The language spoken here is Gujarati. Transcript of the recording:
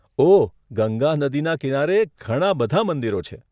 ઓહ, ગંગા નદીના કિનારે ઘણા બધા મંદિરો છે.